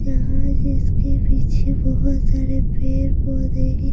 यहां इसके पीछे बहुत सारे पेर पौधे --